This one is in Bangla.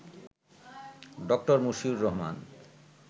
ড: মশিউর রহমান